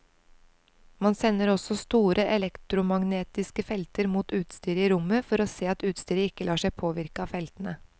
Man sender også store elektromagnetiske felter mot utstyret i rommet for å se at utstyret ikke lar seg påvirke av feltene.